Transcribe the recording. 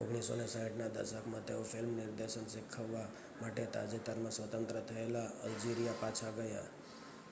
1960ના દશકમાં તેઓ ફિલ્મ નિર્દેશન શીખવવા માટે તાજેતરમાં સ્વતંત્ર થયેલા અલ્જિરિયા પાછા ગયા